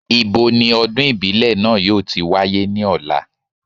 Ibo ni ọdún ìbílẹ̀ náà yóò ti wáyé ní ọ̀la?